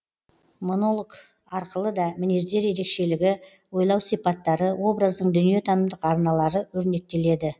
монолог арқылы да мінездер ерекшелігі ойлау сипаттары образдың дүниетанымдық арналары өрнектеледі